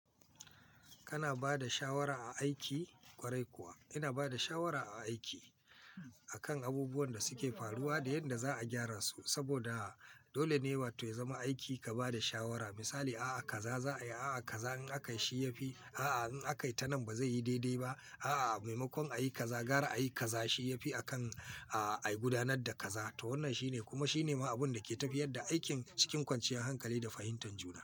Kana ba da shawara a aiki, ƙwarai kuwa ina ba da shawara a aiki akan abubuwan da suke faruwa da yadda za a gyara su saboda dole ne watan ya zama aiki ka ba da shawara. Misali, a'a kaza za a yi, a'a kaza in aka yi shi ya fi, a'a in aka yi tanan ba zai yi daidai ba. A'a, maimakon a yi kaza, gyara a yi kaza shi ya fi a kan, a yi gudanar da kaza. To wannan shine kuma shine ma abun da ke tafiyar da aikin cikin kwanciyar hankali da fahimtar juna.